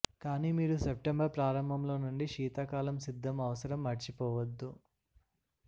కానీ మీరు సెప్టెంబర్ ప్రారంభంలో నుండి శీతాకాలం సిద్ధం అవసరం మర్చిపోవద్దు